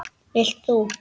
Vilt þú?